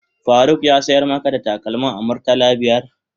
Faruk ya sayar maka da takalmin a murtala biyar?